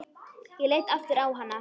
Ég leit aftur á hana.